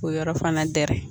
K'o yɔrɔ fana gɛrɛ